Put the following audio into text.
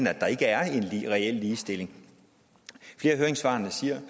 at der ikke er en reel ligestilling flere af høringssvarene siger